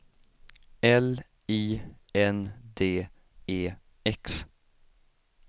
L I N D E X